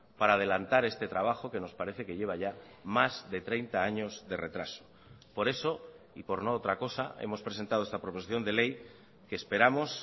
para adelantar este trabajo que nos parece que lleva ya más de treinta años de retraso por eso y por no otra cosa hemos presentado esta proposición de ley que esperamos